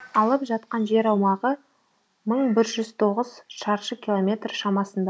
алып жатқан жер аумағы мың бір жүз тоғыз шаршы километр шамасында